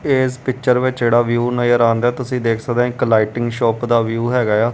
ਇਸ ਪਿਚਰ ਵਿੱਚ ਜਿਹੜਾ ਵਿਊ ਨਜ਼ਰ ਆਉਣ ਡਿਆ ਤੁਸੀਂ ਦੇਖ ਸਕਦੇ ਇੱਕ ਲਾਈਟਿੰਗ ਸ਼ੋਪ ਦਾ ਵਿਊ ਹੈਗਾ ਆ।